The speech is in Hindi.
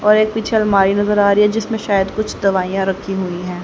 और एक पीछे अलमारी नजर आ रही है जिसमे शायद कुछ दवाइयां रखी हुई है।